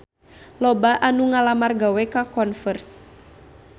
Loba anu ngalamar gawe ka Converse